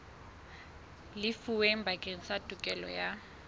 lefuweng bakeng sa tokelo ya